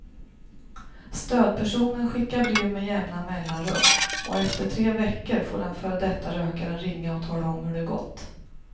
Stödpersonen skickar brev med jämna mellanrum och efter tre veckor får den före detta rökaren ringa och tala om hur det gått.